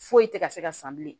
Foyi tɛ ka se ka san bilen